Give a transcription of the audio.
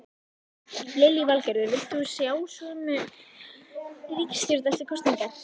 Lillý Valgerður: Vilt þú sjá sömu ríkisstjórn eftir kosningar?